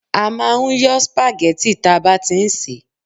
a ma n yọ́ spaghetti ta ba ti n se